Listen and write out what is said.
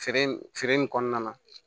Feere feere in kɔnɔna na